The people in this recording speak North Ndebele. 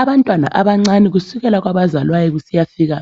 Abantwana abancane kusukela kwabazalwayo kusiyafika